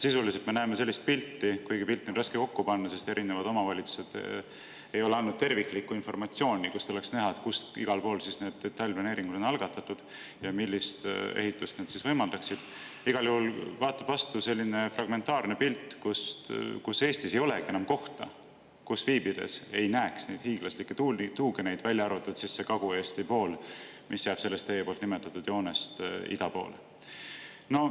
Sisuliselt me näeme sellist pilti – kuigi seda pilti on raske kokku panna, sest erinevad omavalitsused ei ole andnud terviklikku informatsiooni, mille põhjal oleks näha, kus need detailplaneeringud on algatatud ja millist ehitust need võimaldaksid –, vastu vaatab selline fragmentaarne pilt, et Eestis ei olegi enam kohta, kus viibides ei näeks neid hiiglaslikke tuugeneid, välja arvatud see Kagu-Eesti osa, mis jääb teie nimetatud joonest ida poole.